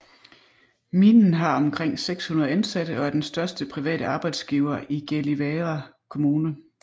Minen har omkring 600 ansatte og er den største private arbejdsgiver i Gällivare kommune